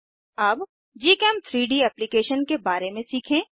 अब gchem3डी एप्लीकेशन के बारे में सीखें